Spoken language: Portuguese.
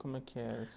Como é que era?